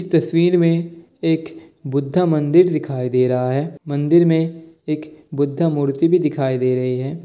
तस्वीर में एक बुद्धा मंदिर दिखाई दे रहा है मंदिर में एक बुद्धा मूर्ति भी दिखाई दे रही है।